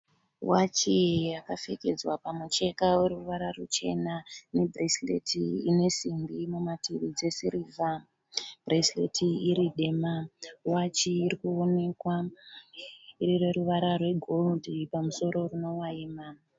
Wachi yakapfekedza pamucheka weruvara ruchena nebhuresireti ine simbi mumativi dzesirivha, bhuresireti iri dema. Wachi iri kuonekwa iri yeruvara rwegoridhe pamusoro runovayima.